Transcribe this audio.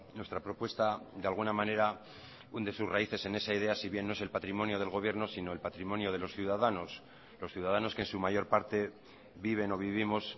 nuestra propuesta de alguna manera hunde sus raíces en esa idea si bien no es el patrimonio del gobierno sino el patrimonio de los ciudadanos los ciudadanos que en su mayor parte viven o vivimos